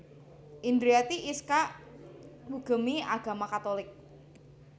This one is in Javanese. Indriati Iskak ngugemi agama Katolik